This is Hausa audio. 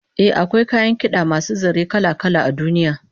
Eh, akwai kayan kid'a masu zare kala-kala a duniya